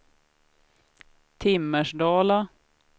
Timmersdala